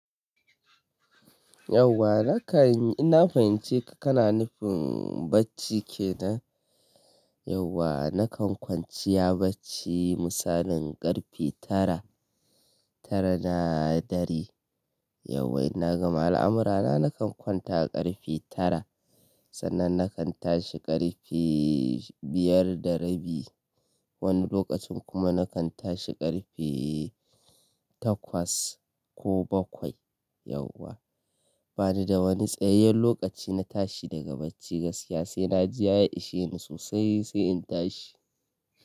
Yauwa nakan ina fahimci ka kana nufin bacci kenan? Yauwa nakan kwanciya bacci misalin karfe tara tara na dare Yauwa ina gama al'amurana nakan kwanta karfe tara sannan nakan tashi karfi biyar da rabi. Wani lokacin kuma nakan tashi karfi takwas ko bakwai. Yauwa bani da wani tsayayyen lokaci na tashi daga bacci gaskiya sai na ji ya ishe ni sosai sai in tashi.